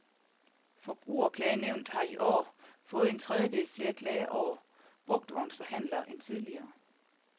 Forbrugerklagenævnet har i år fået en tredjedel flere klager over brugtvognsforhandlere end tidligere.